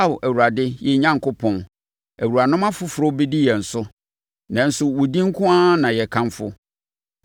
Ao, Awurade yɛn Onyankopɔn, awuranom afoforɔ bi adi yɛn so, nanso wo din nko ara na yɛkamfo.